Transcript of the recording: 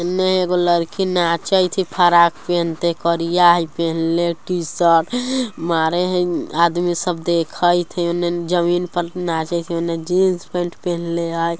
इने एक लड़की नाचइत थय फराक पहनते करिया हई पहनले टी शर्ट मारे हइ आदमी सब देखइत है उने जमीन पर नाचे उने जीन्स पेंट पहनले है